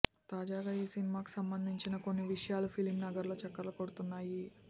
తాజాగా ఈసినిమాకు సంబంధించిన కొన్ని విషయాలు ఫిలిం నగర్లో చక్కర్లు కొడుతున్నాయి